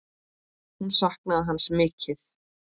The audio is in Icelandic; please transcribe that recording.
Hún saknaði hans mikið.